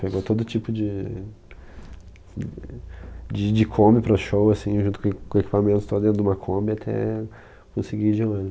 Pegou todo tipo de de... De Kombi para o show, assim, junto com eq com equipamentos dentro de uma Kombi até conseguir ir de ônibus.